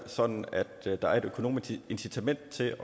sådan at der er et økonomisk incitament til